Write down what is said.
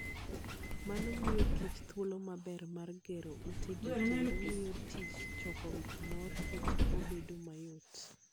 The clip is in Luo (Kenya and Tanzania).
Mano miyo kich thuolo maber mar gero utegi kendo miyo tij choko mor kich obedo mayot.